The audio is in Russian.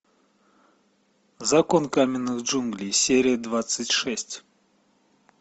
закон каменных джунглей серия двадцать шесть